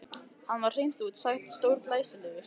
Hann var hreint út sagt stórglæsilegur.